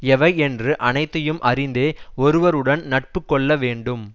எவை என்று அனைத்தையும் அறிந்தே ஒருவருடன் நட்பு கொள்ள வேண்டும்